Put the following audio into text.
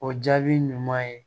O jaabi ɲuman ye